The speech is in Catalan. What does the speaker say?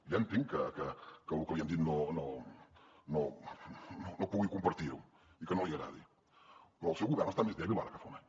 ja entenc que el que li hem dit no pugui compartir ho i que no li agradi però el seu govern està més dèbil ara que fa un any